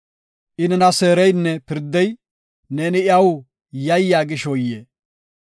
“I nena seereynne pirdey, Neeni iyaw yayya gishoyee?